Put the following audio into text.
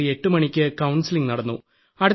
രാത്രി 8 മണിയ്ക്ക് കൌൺസലിംഗ് നടന്നു